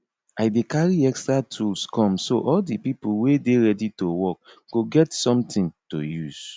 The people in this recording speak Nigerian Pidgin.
i dey carry extra tools come so all de pipo wey dey ready to work go get something to use